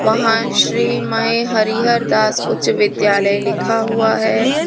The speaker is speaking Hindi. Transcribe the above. वहां श्री मय हरिहर दास उच्च विद्यालय लिखा हुआ है।